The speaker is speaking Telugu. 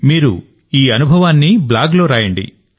మీరు ఈ అనుభవాన్ని బ్లాగ్ లో రాయండి